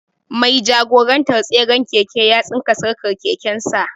Mai jagorantar tseren keken ya tsinka sarƙar keken sa.